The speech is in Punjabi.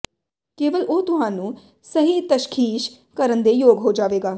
ਕੇਵਲ ਉਹ ਤੁਹਾਨੂੰ ਸਹੀ ਤਸ਼ਖੀਸ਼ ਕਰਨ ਦੇ ਯੋਗ ਹੋ ਜਾਵੇਗਾ